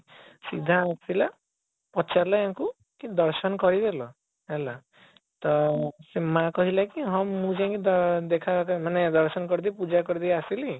ସିଧା ଆସିଲା ପଚାରିଲା ୟାଙ୍କୁ କି ଦର୍ଶନ କରିଦେଲ ହେଲା ତ ସେମାନେ କହିଲେ କି ହଁ ମୁଁ ଯାଇକି ଦ ଦେଖା କରି ମାନେ ଦର୍ଶନ କରିଦେଇ ପୂଜା କରିଦେଇ ଆସିଲି